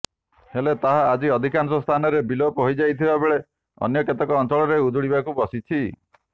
ହେଲେ ତାହା ଆଜି ଅଧିକାଂଶ ସ୍ଥାନରେ ବିଲୋପ ହୋଇଯାଇଥିବାବେଳେ ଅନ୍ୟ କେତେକ ଅଂଚଳରେ ଉଜୁଡିଯିବାକୁ ବସିଛି